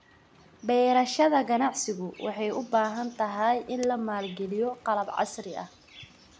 Beerashada ganacsigu waxay u baahan tahay in la maalgeliyo qalab casri ah.